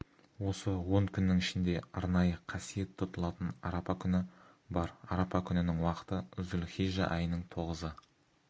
осы он күннің ішінде арнайы қасиет тұтылатын арапа күні бар арапа күнінің уақыты зүл-хижжа айының тоғызы